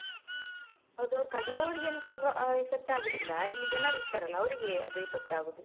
ಹೌದು ಅದು ಅವ್ರು ಕಡಿಯವ್ರಿಗಿಂತ effect ಆಗುದಿಲ್ಲ ಇಲ್ಲಿ ಜನರಿರ್ತಾರೆ ಅಲ್ವ ಅವ್ರಿಗೆ ಅದು effect .